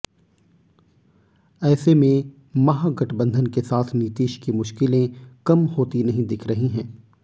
ऐसे में महागठबंधन के साथ नीतीश की मुश्किलें कम होती नहीं दिख रही हैं